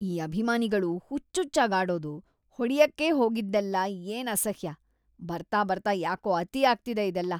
ಈ ಅಭಿಮಾನಿಗಳು ಹುಚ್ಚುಚ್ಚಾಗ್‌ ಆಡೋದು, ಹೊಡ್ಯಕ್ಕೇ ಹೋಗಿದ್ದೆಲ್ಲ ಏನ್‌ ಅಸಹ್ಯ! ಬರ್ತಾ ಬರ್ತಾ ಯಾಕೋ ಅತಿ ಆಗ್ತಿದೆ ಇದೆಲ್ಲ.